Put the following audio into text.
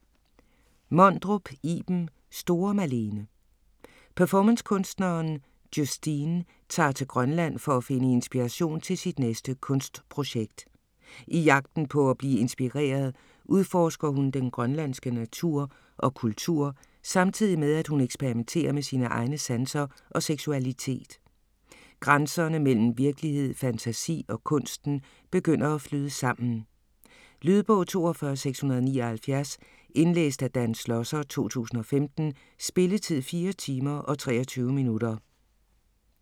Mondrup, Iben: Store Malene Performancekunstneren Justine tager til Grønland for at finde inspiration til sit næste kunstprojekt. I jagten på at blive inspireret udforsker hun den grønlandske natur og kultur samtidig med at hun eksperimenterer med sine egne sanser og seksualitet. Grænserne mellem virkelighed, fantasi og kunsten begynder at flyde sammen. Lydbog 42679 Indlæst af Dan Schlosser, 2015. Spilletid: 4 timer, 23 minutter.